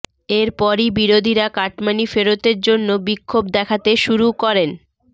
এরপরই বিরোধীরা কাটমানি ফেরতের জন্য বিক্ষোভ দেখাতে শুরু করেন